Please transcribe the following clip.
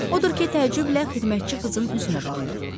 Odur ki, təəccüblə xidmətçi qızın üzünə baxdı.